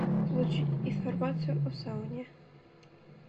получить информацию о сауне